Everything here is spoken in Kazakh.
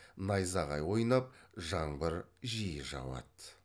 найзағай ойнап жаңбыр жиі жауады